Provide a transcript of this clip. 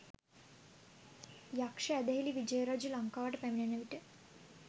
යක්‍ෂ ඇදහිලි විජය රජු ලංකාවට පැමිණෙනවිට